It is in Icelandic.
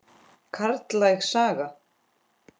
Karllæg saga?